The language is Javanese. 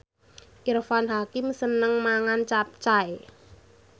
Irfan Hakim seneng mangan capcay